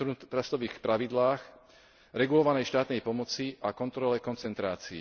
antitrustových pravidlách, regulovanej štátnej pomoci a kontrole koncentrácií.